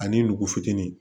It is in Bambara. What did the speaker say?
Ani nugu fitinin